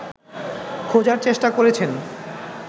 খোঁজার চেষ্টা করেছেন